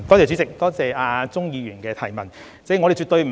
主席，多謝鍾議員的補充質詢。